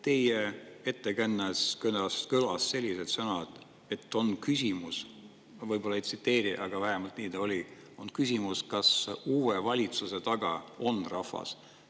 Teie ettekandes kõlasid sellised sõnad, et on küsimus – ma võib-olla ei tsiteeri, aga vähemalt nii ta oli, et on küsimus –, kas uue valitsuse taga on rahvas.